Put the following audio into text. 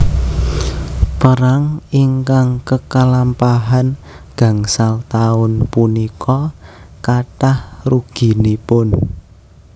Perang ingkang kekalampahan gangsal taun punika kathah ruginipun